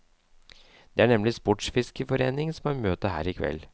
Det er nemlig sportsfiskerforeningen som har møte her i kveld.